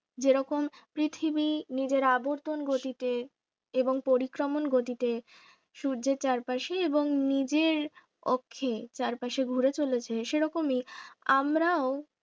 যেরকম পৃথিবী নিজের আবর্তন গতিতে এবং পরিক্রমণ গতিতে সূর্যের চারপাশে এবং নিজের অক্ষে চারপাশে ঘোরে জমেছে সেরকম এই আমরাও